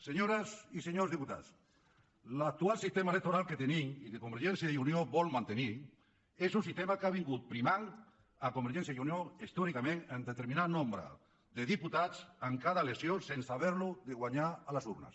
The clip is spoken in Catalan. senyores i senyors diputats l’actual sistema electoral que tenim i que convergència i unió vol mantenir és un sistema que ha estat primant convergència i unió històricament amb determinat nombre de diputats en cada elecció sense haver ho de guanyar a les urnes